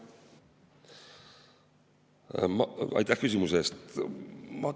Aitäh küsimuse eest!